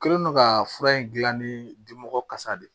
Kɛlen don ka fura in dilan ni dimɔgɔ kasa de ye